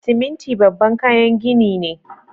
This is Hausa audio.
Siminti babban kayan gini ne.